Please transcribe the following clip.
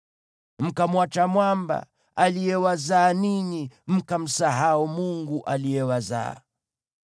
Mkamwacha Mwamba, aliyewazaa ninyi; mkamsahau Mungu aliyewazaa.